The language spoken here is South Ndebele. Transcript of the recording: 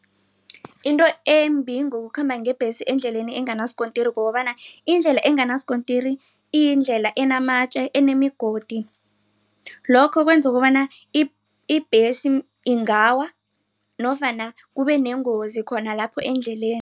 Into embi ngokukhamba ngebhesi endleleni enganasikontiri kukobana indlela enganasikontiri iyindlela enamatje enimigodi. Lokho kwenza ukobana ibhesi ingawa nofana kubeneengozi khona lapho endleleni.